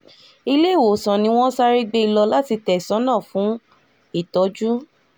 iléewòsàn ni wọ́n sáré gbé e lọ láti tẹ̀sán náà fún ìtọ́jú